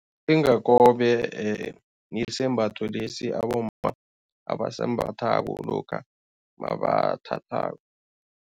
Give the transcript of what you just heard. Mlingakobe yisembatho lesi abomma abasembathako lokha nabathathako.